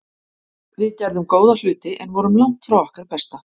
Við gerðum góða hluti en vorum langt frá okkar besta.